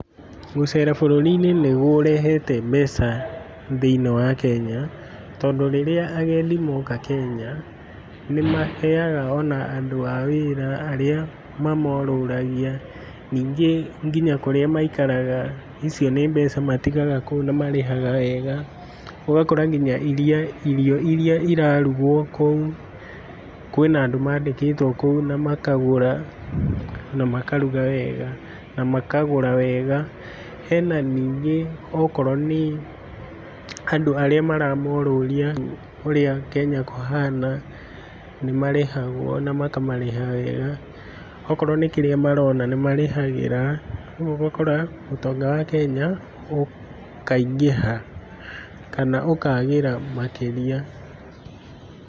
Gũcera bũrũri-inĩ nĩ kũrehete mbeca thĩiniĩ wa Kenya, tondũ rĩrĩa ageni moka Kenya nĩ maheaga on andũ a wĩra arĩa mamorũragia ningĩ nginya kũrĩa maikaraga icio nĩ mbeca matigaga kũu na marĩhaga wega, ũgakora nginya irio iria irarugwo kũu kwĩna andũ maandĩkĩtwo kũu na makagũra na makaruga wega na makagũra wega. He na ningĩ okorwo nĩ andũ arĩa maramorũria ũrĩa Kenya kũhana nĩ marĩhagwo na makamarĩha wega. O korwo nĩ kĩrĩa marona nĩ marĩhagĩra kũguo ũgakora ũtonga wa Kenya ukaingĩha kana ũkaagĩra makĩria.